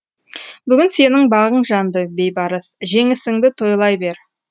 бүгін сенің бағың жанды бейбарыс жеңісіңді тойлай бер